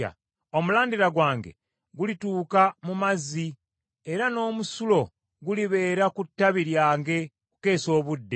Omulandira gwange gulituuka mu mazzi, era n’omusulo gulibeera ku ttabi lyange okukeesa obudde.